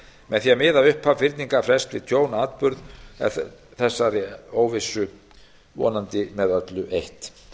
með því að miða upphaf fyrningarfrests við tjónsatburð er þessari óvissu vonandi með öllu eytt